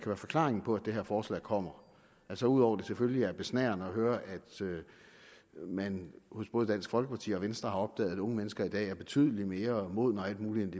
forklaringen på at det her forslag kommer altså ud over at det selvfølgelig er besnærende at høre at man hos både dansk folkeparti og venstre har opdaget at unge mennesker i dag er betydelig mere modne og alt muligt